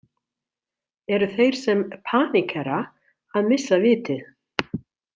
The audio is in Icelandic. Eru þeir sem „paníkera“ að missa vitið?